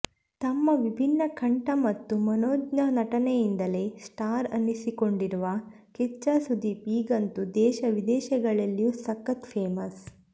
ತಮ್ಮ ವಿಭಿನ್ನ ಕಂಠ ಮತ್ತು ಮನೋಜ್ಞ ನಟನೆಯಿಂದಲೇ ಸ್ಟಾರ್ ಅನ್ನಿಸಿಕೊಂಡಿರುವ ಕಿಚ್ಚಾ ಸುದೀಪ್ ಈಗಂತೂ ದೇಶ ವಿದೇಶಗಳಲ್ಲಿಯೂ ಸಖತ್ ಫೇಮಸ್